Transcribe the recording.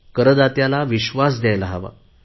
करदात्याला विश्वास द्यायला हवा